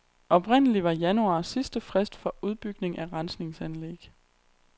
Oprindelig var januar sidste frist for udbygning af rensningsanlæg.